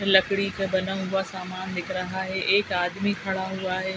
लकड़ी का बना हुआ सामान दिख रहा हे एक आदमी खड़ा हुआ हे ।